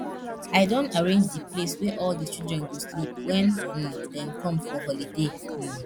i don arrange the place wey all the children go sleep wen um dem come for holiday um